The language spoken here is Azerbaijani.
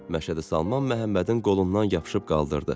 Məşədi Salman Məhəmmədin qolundan yapışıb qaldırdı.